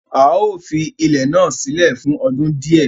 Áà ó fi ilẹ̀ náà sílẹ̀ fún ọdún di ẹ